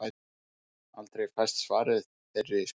Aldrei fæst svar við þeirri spurningu.